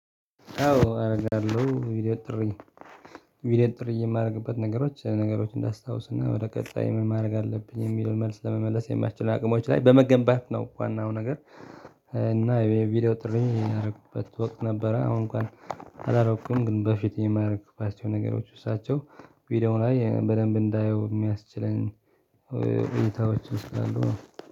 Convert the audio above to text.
አዎ አደርጋለሁ ቪዲዮ ጥሪ። ቪዲዮ ጥሪ የማደርግበት ነገሮች ነገሮች እንዳስታውስና ወደ ቀጣይ ምን ማድረግ አለብኝ የሚለውን መልስ ለመመለስ የማትችሉን አቅሞች ላይ በመገንባት ነው ዋናው ነገር። እና የቪዲዮ ጥሪ የማደርግበት ወቅት ነበረ። አሁን እንኳን አላረኩም። ግን በፊት የማደርግባቸው ነገሮች ሳያቸው ቪዲዮ ላይ በደንብ እንዳየው የሚያስችለን። እይታዎች እስካሉ